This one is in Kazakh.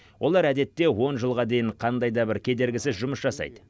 олар әдетте он жылға дейін қандай да бір кедергісіз жұмыс жасайды